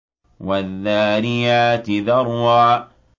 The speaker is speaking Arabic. وَالذَّارِيَاتِ ذَرْوًا